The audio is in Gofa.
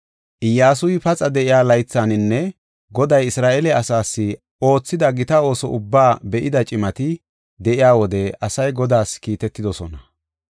Iyyasuy paxa de7iya laythaninne Goday Isra7eele asaas oothida gita ooso ubbaa be7ida cimati de7iya wode asay Godaas kiitetidosona.